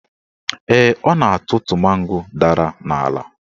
Ee, ọ na-atụtụ mango dara n'ala